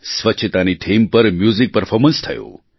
સ્વચ્છતાની થીમ પર music performance થયું